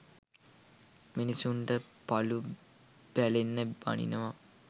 මිනිස්සුන්ට පලු පැලෙන්න බනිනවා.